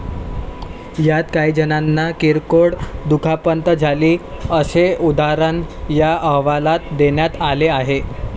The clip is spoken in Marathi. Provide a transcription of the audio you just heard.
यात काहीजणांना किरकोळ दुखापत झाली, असे उदाहरण या अहवालात देण्यात आले आहे.